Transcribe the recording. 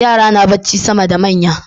Yara na bacci sama da manya